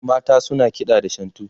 mata suna kiɗa da shantu